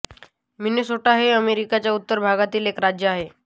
Minnesota हे अमेरिकेच्या उत्तर भागातील एक राज्य आहे